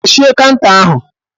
Kpuchie fanta ahụ echi